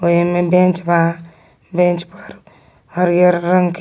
ओ एम्मे बेंच बा बेंच पर हरिहर रंग के --